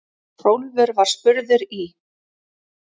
Hrólfur var spurður í